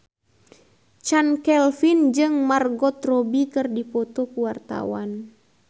Chand Kelvin jeung Margot Robbie keur dipoto ku wartawan